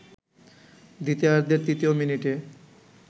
দ্বিতীয়ার্ধের তৃতীয় মিনিটে